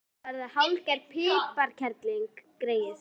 Hún er að verða hálfgerð piparkerling, greyið.